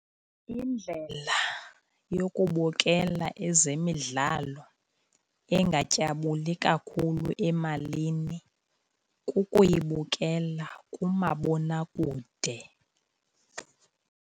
Indlela yokubukela ezemidlalo engatyabuli kakhulu emalini kukuyibukela kumabonakude.